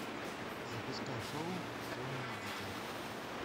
запускай шоу темное дитя